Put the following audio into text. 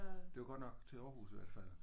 Det var godt nok til Aarhus i alt fald